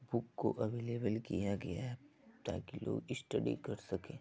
Book को available किया गया है ताकी लोग स्टडी कर सकें।